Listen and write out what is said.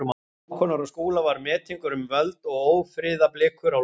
Hákonar og Skúla var metingur um völd og ófriðarblikur á lofti.